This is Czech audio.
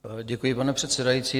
Děkuji, pane předsedající.